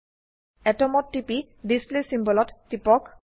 Atomত TP display symbol ত টিপক